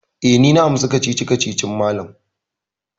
Eh, ni na amsa kacici-kacicin malam.